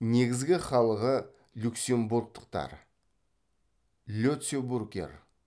негізгі халығы люксембургтықтар летцебургер